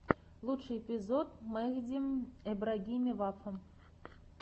лучший эпизод мехди эбрагими вафа